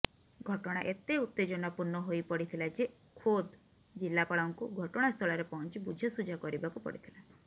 ଘଟଣା ଏତେ ଉତ୍ତେଜନାପୂର୍ଣ୍ଣ ହୋଇ ପଡ଼ିଥିଲା ଯେ ଖୋଦ୍ ଜିଲ୍ଲାପାଳଙ୍କୁ ଘଟଣାସ୍ଥଳରେ ପହଞ୍ଚି ବୁଝାସୁଝା କରିବାକୁ ପଡ଼ିଥିଲା